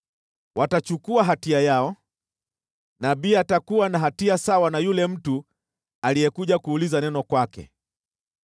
Watachukua hatia yao, nabii atakuwa na hatia sawa na yule mtu aliyekuja kuuliza neno kwake.